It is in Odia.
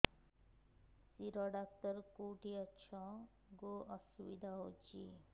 ଶିର ଡାକ୍ତର କେଖାନେ ଅଛେ ଗୋ ବହୁତ୍ ଅସୁବିଧା ହଉଚି